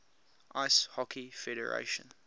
ice hockey federation